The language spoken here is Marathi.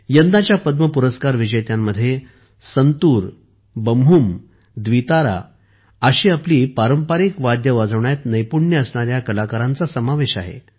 यंदाच्या पद्म पुरस्कार विजेत्यांमध्ये संतूर बम्हुम द्वितारा अशी आपली पारंपारिक वाद्ये वाजवण्यात नैपुण्य असणाऱ्या कलाकारांचा समावेश आहे